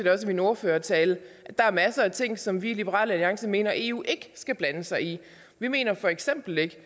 min ordførertale at der er masser af ting som vi i liberal alliance mener eu ikke skal blande sig i vi mener for eksempel ikke